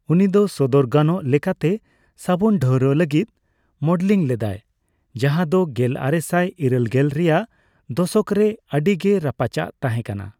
ᱩᱱᱤ ᱫᱚ ᱥᱚᱫᱚᱨ ᱜᱟᱱᱚᱜ ᱞᱮᱠᱟᱛᱮ ᱥᱟᱹᱵᱩᱱ ᱰᱷᱟᱹᱣᱨᱟᱜ ᱞᱟᱹᱜᱤᱫ ᱢᱚᱰᱮᱞᱤᱝ ᱞᱮᱫᱟᱭ, ᱡᱟᱦᱟᱸ ᱫᱚ ᱜᱮᱞᱟᱨᱮᱥᱟᱭ ᱤᱨᱟᱹᱞᱜᱮᱞ ᱨᱮᱭᱟᱜ ᱫᱚᱥᱚᱠᱨᱮ ᱟᱹᱰᱤ ᱜᱮ ᱨᱟᱯᱟᱪᱟᱜ ᱛᱟᱦᱮᱸᱠᱟᱱᱟ ᱾